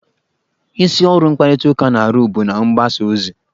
Isi ọrụ mkparịtaụka na-arụ bụ na-mgbasa ozi.